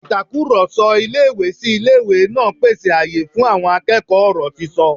Ìtakùrọ̀sọ ilé-ìwé-sí-ilé-ìwé náà pèsè àyè fún àwọn akẹ́kọ̀ọ́ ọ̀rọ̀ sísọ